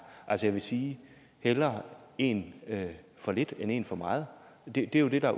altså jeg vil sige hellere én for lidt end én for meget det er jo det